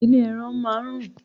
Ilé ẹran máá ń rùn